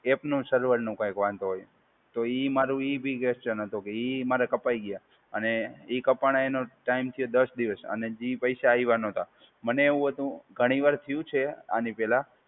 એપનું server નું કઈંક વાંધો હોય. તો ઈ મારું ઈ બી ક્વેશ્ચન હતું કે ઈ મારા કપાઈ ગયા અને એ કાપાણા એનો ટાઈમ છે દસ દિવસ અને હજી એ પૈસા આવ્યાં નતાં. મને એવું હતું, ઘણી વાર થયું છે આની પહેલા